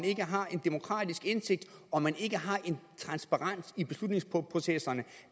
ikke har en demokratisk indsigt og transparens i beslutningsprocesserne